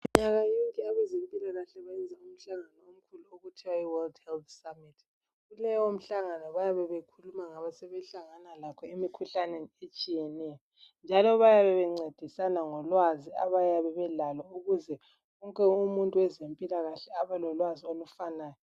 Minyaka yonke abezempilakahle bayenza umhlangano umkhulu okuthiwa yiWorld Health Summit. Kuleyo mihlangano bayabe bekhuluma ngasebehlangana lakho emikhuhlaneni etshiyeneyo njalo bayabe bencedisana lolwazi abayabe belalo ukuze wonke umuntu wezempilakahle abe lolwazi olufanayo.